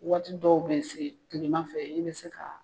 Waati dɔw be yen kilema fɛ i bɛ se ka